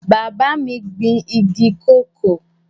Bàbá mi gbin igi kòkó